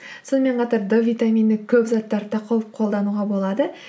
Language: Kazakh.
сонымен қатар д витамины көп заттарды да қолдануға болады